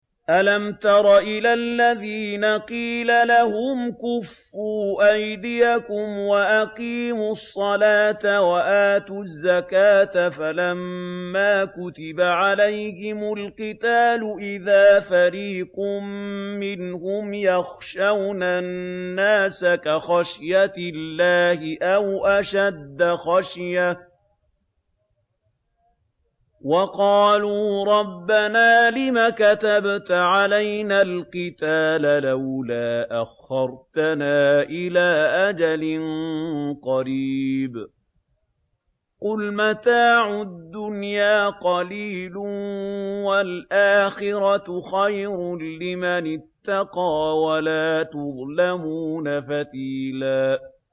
أَلَمْ تَرَ إِلَى الَّذِينَ قِيلَ لَهُمْ كُفُّوا أَيْدِيَكُمْ وَأَقِيمُوا الصَّلَاةَ وَآتُوا الزَّكَاةَ فَلَمَّا كُتِبَ عَلَيْهِمُ الْقِتَالُ إِذَا فَرِيقٌ مِّنْهُمْ يَخْشَوْنَ النَّاسَ كَخَشْيَةِ اللَّهِ أَوْ أَشَدَّ خَشْيَةً ۚ وَقَالُوا رَبَّنَا لِمَ كَتَبْتَ عَلَيْنَا الْقِتَالَ لَوْلَا أَخَّرْتَنَا إِلَىٰ أَجَلٍ قَرِيبٍ ۗ قُلْ مَتَاعُ الدُّنْيَا قَلِيلٌ وَالْآخِرَةُ خَيْرٌ لِّمَنِ اتَّقَىٰ وَلَا تُظْلَمُونَ فَتِيلًا